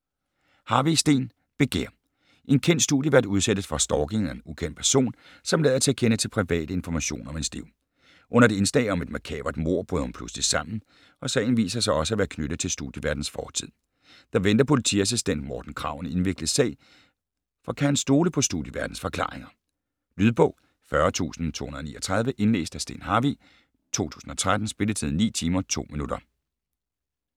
Harvig, Steen: Begær En kendt studievært udsættes for stalking af en ukendt person, som lader til at kende til private informationer om hendes liv. Under et indslag om et makabert mord bryder hun pludseligt sammen, og sagen viser også sig at være knyttet til studieværtens fortid. Der venter politiassistent Morten Krag en indviklet sag, for kan han stole på studieværtens forklaringer? Lydbog 40239 Indlæst af Steen Harvig, 2013. Spilletid: 9 timer, 2 minutter.